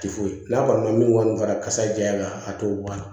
Tɛ foyi n'a kɔni ma min kɔni fara kasa jaga a t'o bɔ a la